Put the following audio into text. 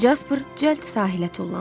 Casper cəld sahilə tullandı.